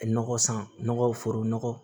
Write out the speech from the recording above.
Nɔgɔ san nɔgɔ foro nɔgɔ